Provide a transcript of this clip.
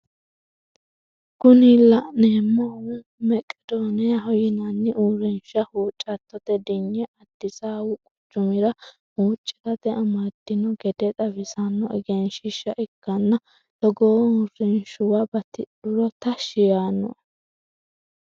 Kuni la'neemohu meqedoniyaho yinanni urinsha huccatote dinye addisawu quchumira huccirate amadino gede xawisanno egenshiishsha ikkanna togoo uurinshuwa batidhuro tashshi yaano"e.